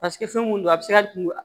Paseke fɛn mun don a bɛ se ka kungo